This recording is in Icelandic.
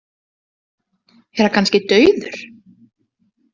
Er hann kannski dauður?